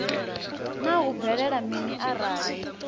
naa hu bvelela mini arali